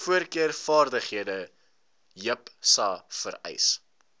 voorkeurvaardighede jipsa vereis